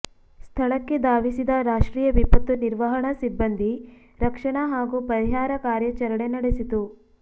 ಸ್ಥಳಕ್ಕೆ ಧಾವಿಸಿದ ರಾಷ್ಟ್ರೀಯ ವಿಪತ್ತು ನಿರ್ವಹಣಾ ಸಿಬ್ಬಂದಿ ರಕ್ಷಣಾ ಹಾಗೂ ಪರಿಹಾರ ಕಾರ್ಯಾಚರಣೆ ನಡೆಸಿತು